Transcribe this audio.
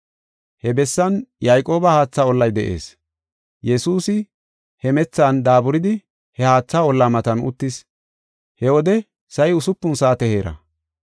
He bessan Yayqooba haatha ollay de7ees. Yesuusi hemethan daaburidi he haatha olla matan uttis. He wode sa7i usupun saate heera.